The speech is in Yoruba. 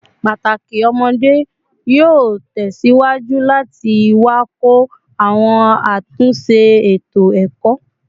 Pataki ọmọde yoo tẹsiwaju lati wakọ awọn atunṣe eto-ẹkọ